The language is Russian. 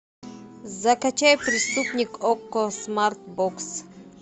закачай преступник окко смарт бокс